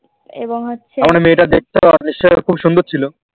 এবং হচ্ছে